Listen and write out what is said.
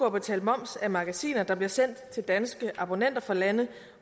at betale moms af magasiner der bliver sendt til danske abonnenter fra lande